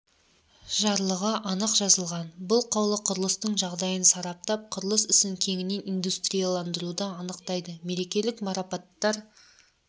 жарлығы анық жазылған бұл қаулы құрылыстың жағдайын сараптап құрылыс ісін кеңінен индустриялдандыруды анықтайды мерекелік марапаттар